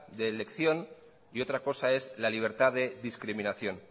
de elección y otra cosa es la libertad de discriminación